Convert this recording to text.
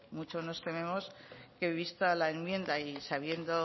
mucho nos tememos que vista la enmienda y sabiendo